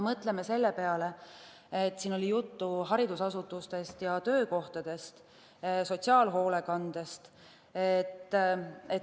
Mõtleme selle peale, et siin oli juttu haridusasutustest ja töökohtadest, sotsiaalhoolekandest.